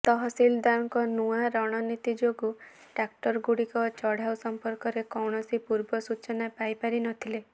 ତହସିଲଦାରଙ୍କ ନୂଆ ରଣନୀତି ଯୋଗୁଁ ଟ୍ରାକ୍ଟରଗୁଡିକ ଚଢାଉ ସମ୍ପର୍କରେ କୌଣସି ପୂର୍ବ ସୂଚନା ପାଇପାରି ନ ଥିଲେ